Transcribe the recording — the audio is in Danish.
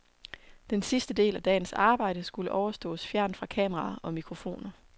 Den sidste del af dagens arbejde skulle overståes fjernt fra kameraer og mikrofoner.